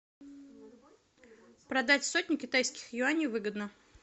продать сотню китайских юаней выгодно